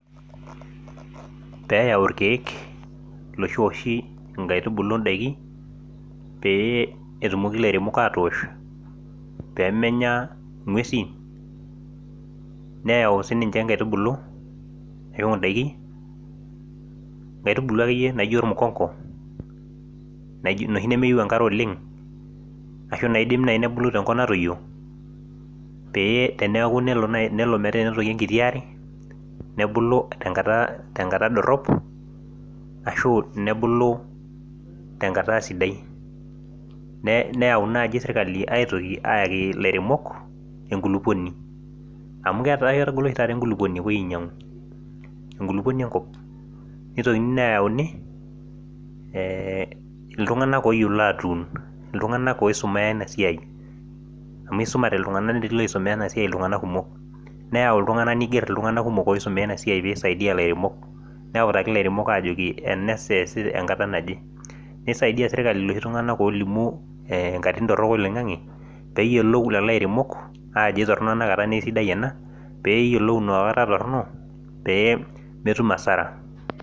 pee eyau ilkeek iloshi ooshi inkaitubulu idaikin, pee etumoki ilairemok aatosh, pee menya ing'uesin neyau siniche inkaitubulu neyau idakin inkaitubulu akeyie naijo olmukongo, noshi nemeyieu engare oleng', ashu inaidim naaji nebulu tenkop natoyio peeyie tenelo naaaji nepiki enkiti are nebulu tenkata dorop, ashu nebulu tengata sidai, neyau naaji serikali aitoki ayaki ilairemok enkulupuoni amu ketaa ketagolo oshi taata enkulupuoni enkop nitokini neyauni iltung'anak oyiolo aatun iltung'anak oisomeya ina siai, amu isumate iltung'anak netii iloisomea enasiai iltung'anak kumok, neyau iltung'anak niger itung'anak kumok oisomeya ena siai neutaki ilairemok ajoki ena saa esi enkata naje, nisaidia serikali iloshi tung'anak olimu inkatitin torok oloing'ang'e pee eyiolou lelo airemok ajo kisidai ena naa kitoronok ena, pee eyiolou inakata toronok pee metum asara.